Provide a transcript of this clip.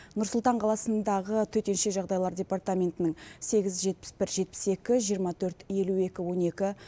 нұр сұлтан қаласындағы төтенше жағдайлар департаментінің сегіз жетпіс бір жетпіс екі жиырма төрт елу екі он екі